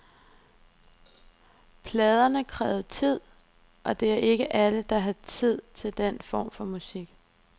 Pladerne krævede tid, og det er ikke alle, der har tid til den form for musik.